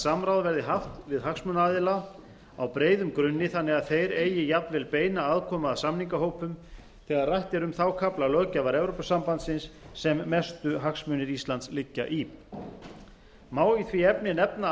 samráð verði haft við hagsmunaaðila á breiðum grunni þannig að þeir eigi jafnvel beina aðkomu að samningahópum þegar rætt er um þá kafla löggjafar evrópusambandsins sem mestu hagsmunir íslands liggja í má í því sambandi nefna